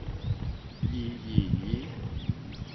gi gi gi